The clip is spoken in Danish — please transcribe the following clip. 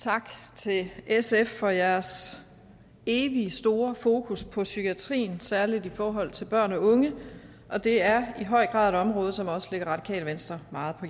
tak til sf for jeres evigt store fokus på psykiatrien særlig i forhold til børn og unge og det er i høj grad et område som også ligger radikale venstre meget på